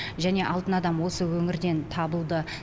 және алтын адам осы өңірден табылды